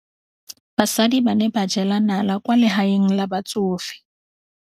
Basadi ba ne ba jela nala kwaa legaeng la batsofe.